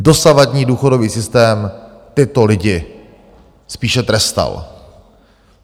Dosavadní důchodový systém tyto lidi spíše trestal.